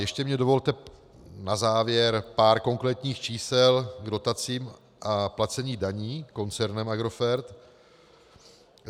Ještě mi dovolte na závěr pár konkrétních čísel k dotacím a placení daní koncernem Agrofert.